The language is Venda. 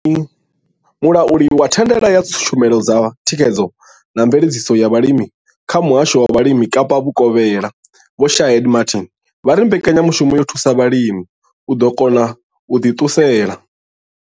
Mulauli wa thandela ya tshumelo dza thikhedzo na mveledziso ya vhulimi kha Muhasho wa Vhulimi Kapa Vhukovhela Vho Shaheed Martin vha ri mbekanyamushumo yo thusa vhalimi u kona u ḓi ṱunḓela.